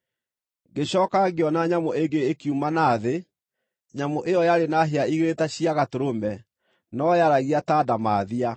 Ngĩcooka ngĩona nyamũ ĩngĩ, ĩkiuma na thĩ. Nyamũ ĩyo yarĩ na hĩa igĩrĩ ta cia gatũrũme, no yaaragia ta ndamathia.